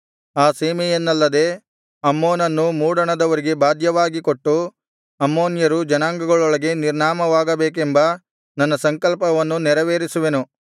ಆ ಸೀಮೆಯನ್ನಲ್ಲದೆ ಅಮ್ಮೋನನ್ನೂ ಮೂಡಣದವರಿಗೆ ಬಾಧ್ಯವಾಗಿ ಕೊಟ್ಟು ಅಮ್ಮೋನ್ಯರು ಜನಾಂಗಗಳೊಳಗೆ ನಿರ್ನಾಮವಾಗಬೇಕೆಂಬ ನನ್ನ ಸಂಕಲ್ಪವನ್ನು ನೆರವೇರಿಸುವೆನು